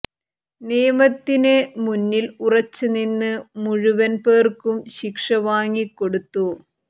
നിയമത്തിന് മുന്നിൽ ഉറച്ച് നിന്ന് മുഴുവൻ പേർക്കും ശിക്ഷ വാങ്ങിക്കൊടുത്തു